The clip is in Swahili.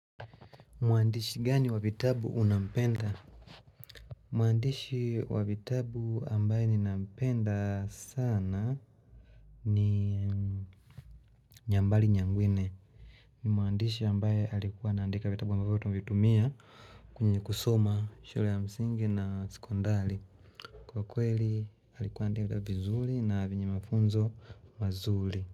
Mwandishi gani wa vitabu unampenda? Mwandishi wa vitabu ambaye ninampenda sana ni Nyambali nyangwine Mwandishi ambaye alikuwa anaandika vitabu ambavyo vitabu tuvitumia kwenye kusoma shule ya msingi na sekondari Kwa kweli alikuwa andika vizuli na vyenye mafunzo mazuli.